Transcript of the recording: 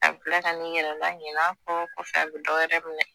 A bɛ tila ka n'i yɛrɛ laɲinɛ a kɔ kɔfɛ a bɛ dɔwɛrɛ minɛ